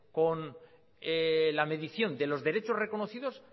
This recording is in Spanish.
con la medición de los derechos reconocidos